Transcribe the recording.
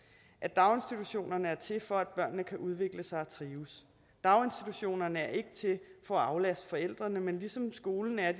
at daginstitutionerne er til for at børnene kan udvikle sig og trives daginstitutionerne er ikke til for at aflaste forældrene men ligesom skolen er